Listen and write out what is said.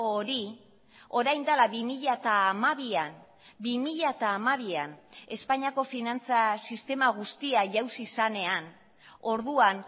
hori orain dela bi mila hamabian bi mila hamabian espainiako finantza sistema guztia jauzi zenean orduan